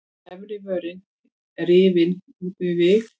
Efri vörin rifin út við vik.